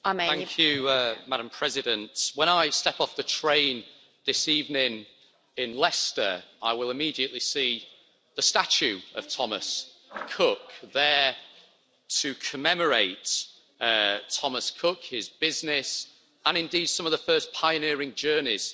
Madam President, when I step off the train this evening in Leicester, I will immediately see the statue of Thomas Cook, there to commemorate Thomas Cook, his business, and indeed some of the first pioneering journeys he organised.